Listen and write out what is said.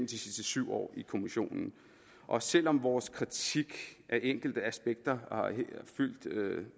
de sidste syv år i kommissionen og selv om vores kritik af enkelte aspekter har fyldt